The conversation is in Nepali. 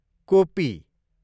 कोपी